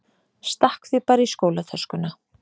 Stakk því bara í skólatöskuna.